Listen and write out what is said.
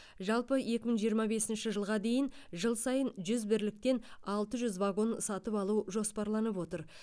жалпы екі мың жиырма бесінші жылға дейін жыл сайын жүз бірліктен алты жүз вагон сатып алу жоспарланып отыр